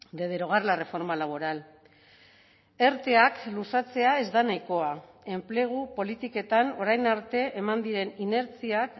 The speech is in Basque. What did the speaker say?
de derogar la reforma laboral erteak luzatzea ez da nahikoa enplegu politiketan orain arte eman diren inertziak